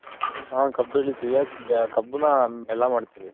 ಹಾ ಕಬ್ ಬೆಲಿತಿವಿ ಕಬ್ಬನ್ನ ಬೆಲ್ಲ ಮಾಡ್ತಿವಿ.